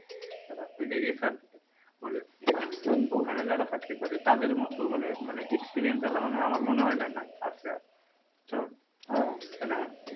বলে ওখানে যারা চাকরি করে তাদের মত মানে experience আমার মনে, মনে হয় নাই আছে বুঝছো।